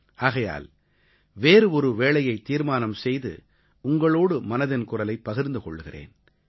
ஆகையால் வேறு ஒரு வேளையைத் தீர்மானம் செய்து உங்களோடு மனதின் குரலைப் பகிர்ந்து கொள்கிறேன்